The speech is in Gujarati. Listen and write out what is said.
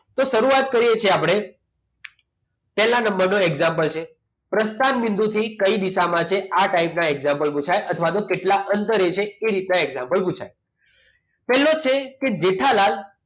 તો શરૂઆત વાત કરીએ છીએ આપણે પહેલા નંબરનો example છે પ્રસ્થાન બિંદુ અંદર થી કઈ દિશામાં છે આ type ના example પુછાય અથવા આનું કેટલા અંતરે છે એ રીતના example પૂછાયેલો છે પહેલા છે કે જેઠાલાલ